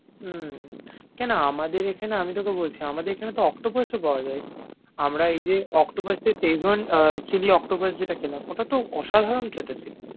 উম কেন আমাদের এখানে আমি তোকে বলছি, আমাদের এখানে তো octopus ও পাওয়া যায়। আমরা এই যে octopus তে szechuan chili octopus যেটা খেলাম ওটা তো অসাধারন খেতে ছিল।